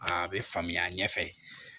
A bɛ faamuya ɲɛfɛ